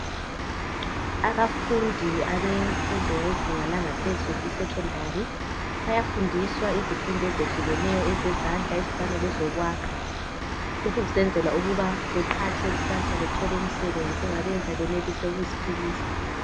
Abafundi abemfundo yezinga langaphezulu isekhendari bayafundiswa izifundo ezehlukeneyo ezezandla ezifana lezokwakha. Lokhu kusenzela ukuba baqhatshwe kusasa bathole imisebenzi engabenza benelise ukuziphilisa.